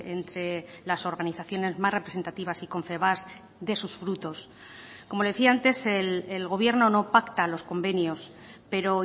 entre las organizaciones más representativas y confebask dé sus frutos como le decía antes el gobierno no pacta los convenios pero